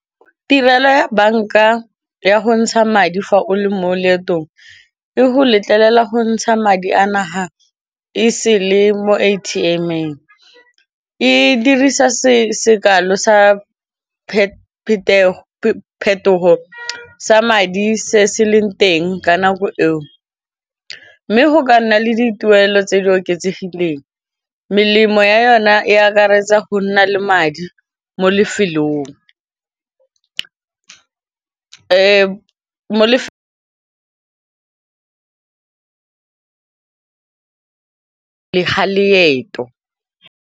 Tirelo ya banka ya go ntsha madi fa o le mo leetong e go letlelela go ntsha madi a naga e sele mo A_T_M-eng e dirisa sekale sa phetogo sa madi se se leng teng ka nako eo, mme go ka nna le dituelo tse di oketsegileng melemo ya yona e akaretsa go nna le madi mo lefelong ga leeto.